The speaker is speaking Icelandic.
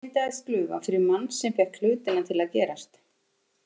Hér myndaðist glufa fyrir mann sem fékk hlutina til að gerast.